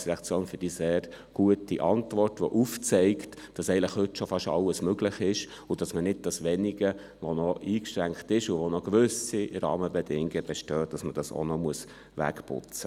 Ich danke aber der VOL für die sehr gute Antwort, die aufzeigt, dass eigentlich heute schon fast alles möglich ist und dass man nicht das Wenige, das noch eingeschränkt ist, auch noch wegputzen muss, sondern dass auch noch gewisse Rahmenbedingungen bestehen.